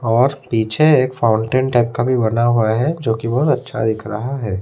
और पीछे एक फाउंटेन टाइप का भी बना हुआ है जोकि बहोत अच्छा दिख रहा है।